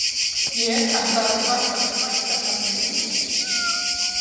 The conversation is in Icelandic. Ég ætla að taka upp ættarnafnið Engifer.